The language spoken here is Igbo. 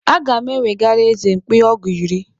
Aga m ewegara eze mkpi ọgụ iri.